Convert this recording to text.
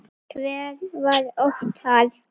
Hver var Óttar?